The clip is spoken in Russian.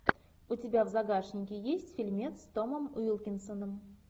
у тебя в загашнике есть фильмец с томом уилкинсоном